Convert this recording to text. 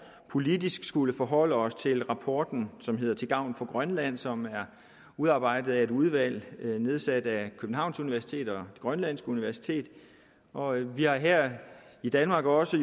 politisk skullet forholde os til rapporten som hedder til gavn for grønland og som er udarbejdet af et udvalg nedsat af københavns universitet og det grønlandske universitet og vi har her i danmark jo også